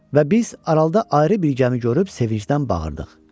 Və biz aralıda ayrı bir gəmi görüb sevinclə bağırdıq.